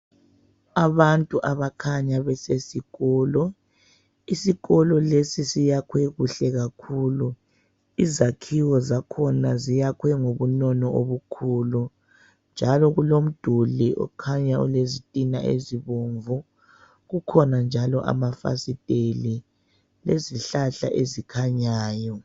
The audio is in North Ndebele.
Abantu abakhanya besesikolo. Isikolo lesi siyakhwe kuhle kakhulu, izakhiwo zakhona ziyakhwe ngobunono obukhulu njalo kulomduli okhanya olezitina ezibomvu. Kukhona njalo amafasiteli lezihlahla ezikhanyayo.